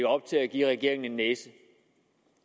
op til at give regeringen en næse